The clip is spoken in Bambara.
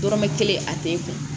Dɔrɔmɛ kelen a tɛ kun